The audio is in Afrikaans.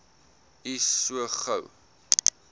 u so gou